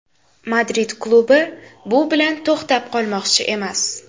Madrid klubi bu bilan to‘xtab qolmoqchi emas.